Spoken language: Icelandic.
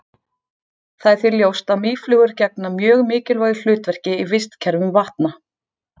Það er því ljóst að mýflugur gegna mjög mikilvægu hlutverki í vistkerfum vatna.